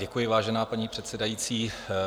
Děkuji, vážená paní předsedající.